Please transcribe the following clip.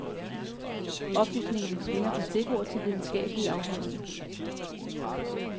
Oplysningerne svinger fra stikord til videnskabelige afhandlinger.